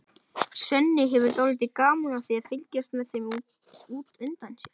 Svenni hefur dálítið gaman af því að fylgjast með þeim út undan sér.